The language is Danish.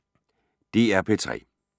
DR P3